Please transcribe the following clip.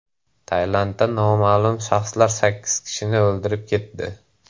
Tailandda noma’lum shaxslar sakkiz kishini o‘ldirib ketdi.